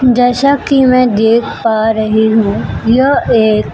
जैसा कि मैं देख पा रही हूं यह एक--